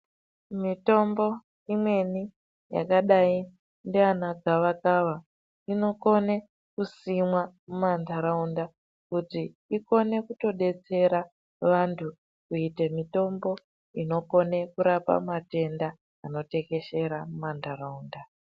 Mitombo imweni yakadai ndiana gavakava inokone kusimwa mumantaraunda kuti ikone kutodetsera vantu kuite mitombo inokone kurapa matenda anotekeshera mumantaraunda.